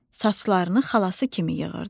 Saçlarını xalası kimi yığırdı.